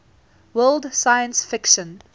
world science fiction